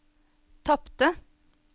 tapte